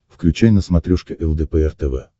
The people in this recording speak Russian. включай на смотрешке лдпр тв